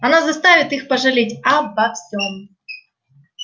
она заставит их пожалеть обо всём